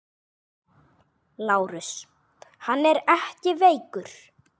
LÁRUS: Hann er ekki veikur!